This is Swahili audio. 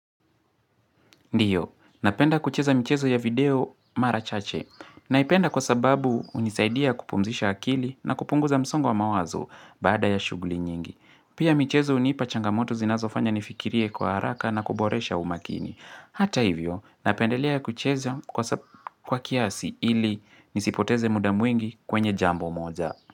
Ndiyo, napenda kucheza mchezo ya video Mara chache. Naipenda kwa sababu hunisaidia kupumzisha akili na kupunguza msongo wa mawazo baada ya shughuli nyingi. Pia michezo hunipa changamoto zinazofanya nifikirie kwa haraka na kuboresha umakini. Hata hivyo, napendelea kucheza kwa kiasi ili nisipoteze muda mwingi kwenye jambo moja.